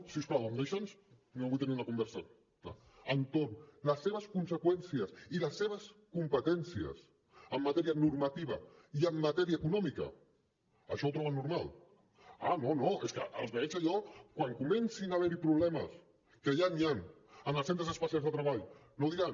si us plau em deixen no vull tenir una conversa entorn les seves conseqüències i les seves competències en matèria normativa i en matèria econòmica això ho troben normal ah no no és que els veig allò quan comencin a haver hi problemes que ja n’hi han en els centres especials de treball no diran